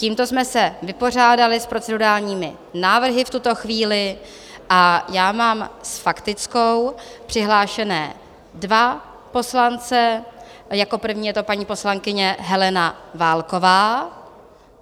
Tímto jsme se vypořádali s procedurálními návrhy v tuto chvíli a já mám s faktickou přihlášené dva poslance, jako první je to paní poslankyně Helena Válková.